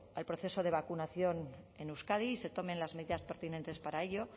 al proceso de vacunación en euskadi se tomen las medidas pertinentes para ello